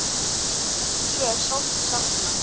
Eddu er sárt saknað.